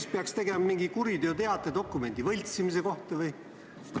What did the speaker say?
Või peaks esitama kuriteoteate dokumendi võltsimise kohta?